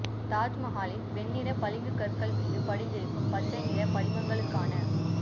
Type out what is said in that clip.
தாஜ் மஹாலின் வெண்ணிற பளிங்குக் கற்கள் மீது படிந்திருக்கும் பச்சை நிற படிமங்களுக்கான